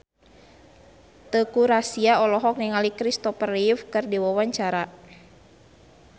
Teuku Rassya olohok ningali Kristopher Reeve keur diwawancara